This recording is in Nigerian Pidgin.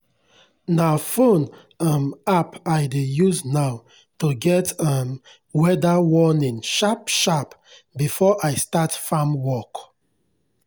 na phone um app i dey use now to get um weather warning sharp-sharp before i start farm work.